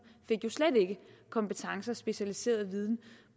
fik jo slet ikke kompetencer og specialiseret viden